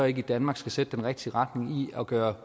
ikke i danmark sætte den rigtige retning og gøre